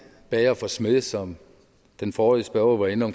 bager for smed som den forrige spørger var inde